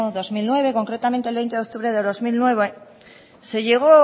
dos mil nueve concretamente el veinte de octubre del dos mil nueve se llegó o